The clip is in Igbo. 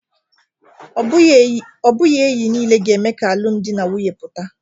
Ọ bụghị enyi niile ga-eme ka alụmdi na nwunye pụta